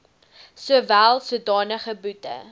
sowel sodanige boete